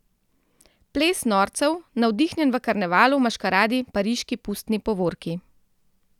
Ples norcev, navdihnjen v karnevalu, maškaradi, pariški pustni povorki.